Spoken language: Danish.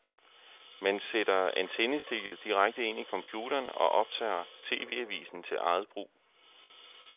Man sætter antennestikket direkte ind i computeren og optager tv-avisen til eget brug.